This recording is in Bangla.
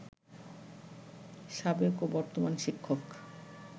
সাবেক ও বর্তমান শিক্ষক